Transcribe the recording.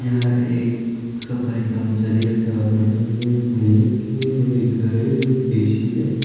यह एक सफाई कर्मचारी है इसके हाथ में झाड़ू है एक मेज रखी है और एक घर है और एक ए_सी है।